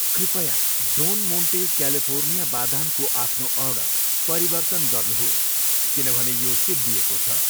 कृपया Don Monte California बादामको आफ्नो अर्डर परिवर्तन गर्नुहोस् किनभने यो सिद्धिएको छ।